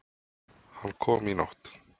Hann kom í nótt.